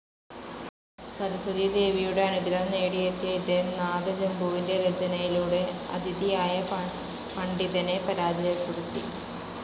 സരസ്വതീദേവിയുടെ അനുഗ്രഹം നേടിയെത്തിയ ഇദ്ദേഹം നാദചമ്പുവിൻ്റെ രചനയിലൂടെ അതിഥിയായ പണ്ഡിതനെ പരാജയപ്പെടുത്തി.